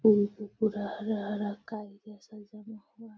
यहाँ पे पूरा हरा-हरा काई जैसा जमा हुआ है।